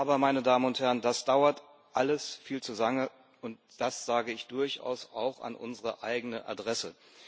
Aber, das dauert alles viel zu lange, und das sage ich durchaus auch an unsere eigene Adresse.